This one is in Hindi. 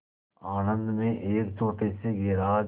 आणंद में एक छोटे से गैराज